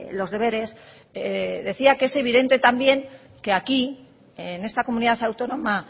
los deberes decía que es evidente también que aquí en esta comunidad autónoma